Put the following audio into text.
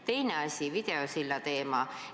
Teine asi, videosilla teema.